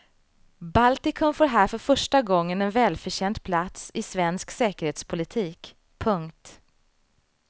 Baltikum får här för första gången en välförtjänt plats i svensk säkerhetspolitik. punkt